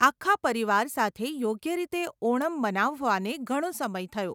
આખા પરિવાર સાથે યોગ્ય રીતે ઓણમ મનાવવાને ઘણો સમય થયો.